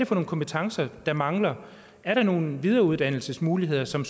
for nogle kompetencer der mangler er der nogle videreuddannelsesmuligheder som